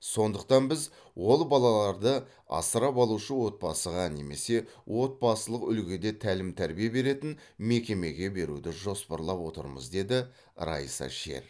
сондықтан біз ол балаларды асырап алушы отбасыға немесе отбасылық үлгіде тәлім тәрбие беретін мекемеге беруді жоспарлап отырмыз деді раиса шер